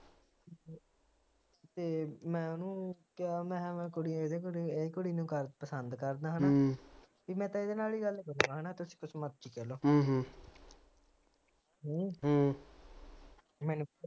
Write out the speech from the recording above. ਤੇ ਮੈ ਓਹਨੂੰ ਕਹਿਆ ਮੈ ਕੁੜੀ ਨੂੰ ਪਸੰਦ ਕਰਦਾ ਹੇਨਾ ਪੀ ਮੈ ਤਾ ਇਹਦੇ ਨਾਲ ਹੀ ਗੱਲ ਕਰੂਗਾ ਹੈਨਾ ਤੁਸੀ ਜੋ ਮਰਜੀ